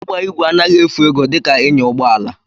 Ịgba ígwè anaghị efu ego dika ịnya ụgbọala